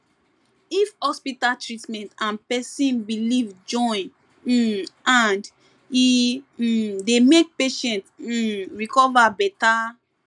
if hospital treatment and person belief join um hand e um dey make patient um recover better